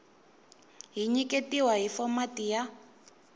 ti nyiketiwa hi fomati ya